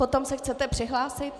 Potom se chcete přihlásit?